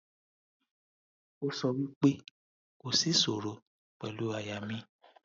o so wi pe ko si isoro pelu aya mi